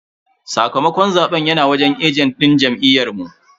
Sakamakon zaben yana wajen ajent din jam'iyyu.